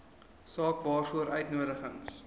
saak waaroor uitnodigings